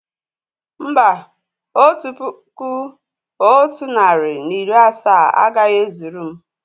Mbà, otu puku otu narị na iri asaa agaghị e zuru m